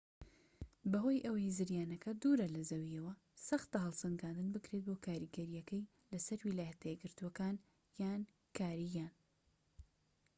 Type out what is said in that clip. بەهۆی ئەوەی زریانەکە دوورە لە زەویەوە سەختە هەڵسەنگاندن بکرێت بۆ کاریگەریەکەی لەسەر ویلایەتە یەکگرتوەکان یان کاریبیان